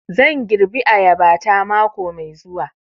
Zan girbi ayaba ta mako mai zuwa